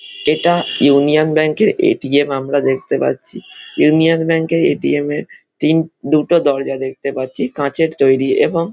এটা union bank এর ATM. আমরা দেখতে পাচ্ছি। ইউনিয়ন ব্যাঙ্ক এর এ.টি.এম. এর তিন দুটো দরজা দেখতে পাচ্ছি কাঁচের তৈরি এবং--